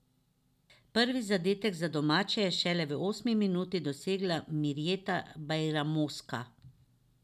Prvi zadetek za domače je šele v osmi minuti dosegla Mirjeta Bajramoska.